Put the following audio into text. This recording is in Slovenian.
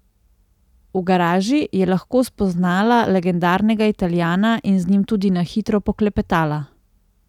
V garaži je lahko spoznala legendarnega Italijana in z njim tudi na hitro poklepetala.